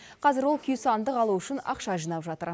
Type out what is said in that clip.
қазір ол күйсандық алу үшін ақша жинап жатыр